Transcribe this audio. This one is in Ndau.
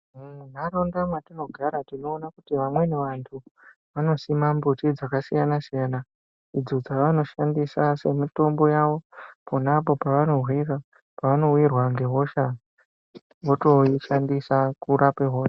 Muntaraunda mwetinogara tinoona kuti vamweni vantu vanosima miti dzakasiyana siyana idzo dzavanoshandisa semitombo yavo ponapo pavanowirwa ngehosha vanotoishandisa kurapa hosha .